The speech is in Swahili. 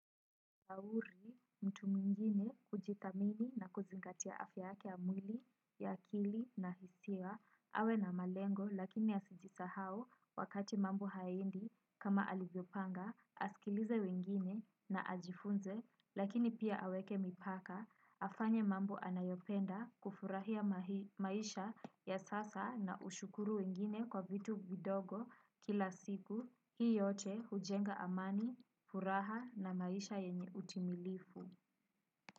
Hauri mtu mwingine hujithamini na kuzingatia afya yake ya mwili, ya akili na hisia awe na malengo lakini asijisahau wakati mambo hayaendi kama alivyopanga. Asikilize wengine na ajifunze lakini pia aweke mipaka, afanye mambo anayopenda kufurahia maisha ya sasa na ushukuru wengine kwa vitu vidogo kila siku. Hii yote hujenga amani, furaha na maisha yenye utimilifu.